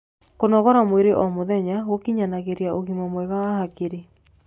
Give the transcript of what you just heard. kũnogora mwĩrĩ o mũthenya gukinyanagirĩa ũgima mwega wa hakiri